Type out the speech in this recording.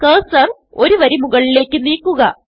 cursor ഒരു വരി മുകളിലേക്ക് നീക്കുക